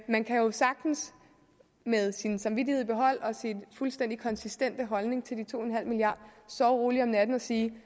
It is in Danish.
man kan sagtens med sin samvittighed i behold og sin fuldstændig konsistente holdning til de to milliard sove roligt om natten og sige